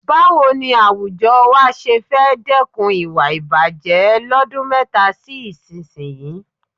Báwo ni àwùjọ wa ṣé fẹ́ dẹ́kun ìwà ìbàjẹ̀ lọ́dún mẹ́ta sí ìsinyìí?